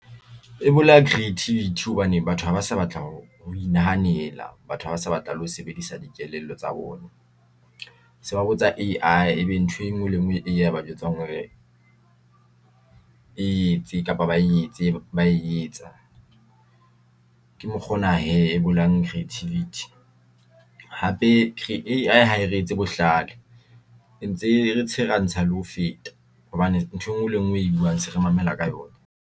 E bolaya creativity hobane batho haba sa batla ho inahanela batho ha ba sa batla le ho sebedisa dikelello tsa bona. Se ba botsa A_I ebe ntho engwe le engwe e ba jwetsang hore etse kapa ba etse bae etsa ke mokgwa ona hee e bolahang creativity hape Hae re etse mohlala, re ntse re tshwere ha ntsa le ho feta hobane ntho e ngwe le ngwe e buang se re mamela ka yona.